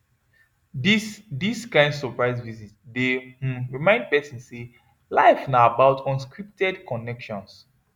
dis dis kain surprise visit dey um remind person say life na about unscripted connections